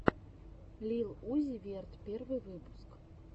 лил узи верт первый выпуск